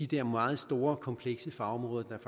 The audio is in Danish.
der meget store komplekse fagområder der